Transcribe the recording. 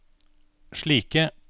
slike